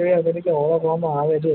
હોય ઓળખવા માં આવે છે